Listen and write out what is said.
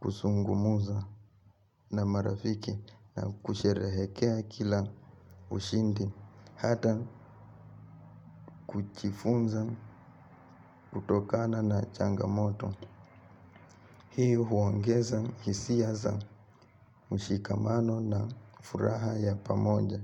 Kusungumuza na marafiki na kusherehekea kila ushindi hata kuchifunza utokana na changamoto. Hii huongeza hisia za ushikamano na furaha ya pamoja.